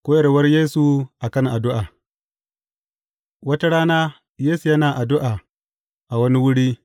Koyarwar Yesu a kan addu’a Wata rana Yesu yana addu’a a wani wuri.